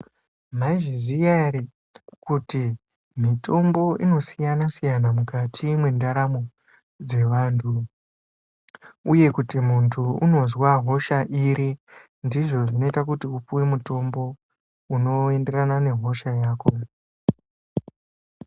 Mizviziya ere kuti mitombo inosiyana-siyana mukati mwendaramo dzevantu, uye kuti muntu unozwa hosha iri ndizvo zvinoita kuti upuve mutombo unoenderana nehosha yako.